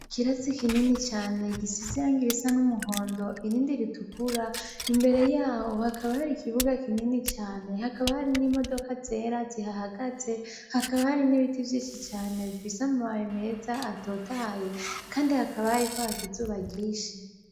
Ikirasi kinini cane gisize irangi risa n'umuhondo irindi ritukura imbere yaho hakaba hari ikibuga kinini cane, hakaba hari n'imodoka zera zihahagaze, hakaba hari n'ibiti vyinshi cane bifise amababi meza atotahaye kandi hakaba hariko haka izuba ryinshi.